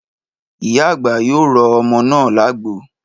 Ìyá àgbà yóò rọ ọmọ náà lágbo